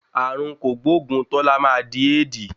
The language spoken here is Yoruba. Ààrùn kògbóògùn Tọ́lá máa di Éèdi.